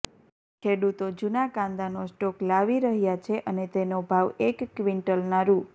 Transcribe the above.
ખેડૂતો જૂના કાંદાનો સ્ટોક લાવી રહ્યા છે અને તેનો ભાવ એક ક્વિન્ટલના રૂ